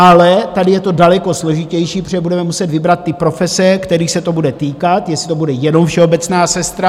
Ale tady je to daleko složitější, protože budeme muset vybrat ty profese, kterých se to bude týkat, jestli to bude jenom všeobecná sestra.